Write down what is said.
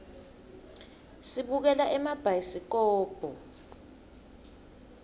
sibukela emabhayisikobho